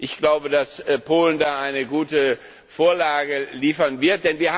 Ich glaube, dass Polen da eine gute Vorlage liefern wird.